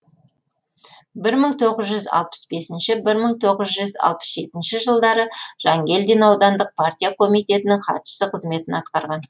бір мың тоғыз жүз алпыс бесінші бір мың тоғыз жүз алпыс жетінші жылдары жангелдин аудандық партия комитетінің хатшысы қызметін атқарған